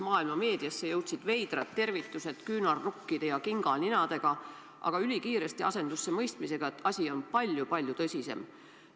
Maailma meediasse jõudsid veidrad tervitused küünarnukkide ja kinganinadega, aga ülikiiresti asendus see mõistmisega, et asi on palju-palju tõsisem.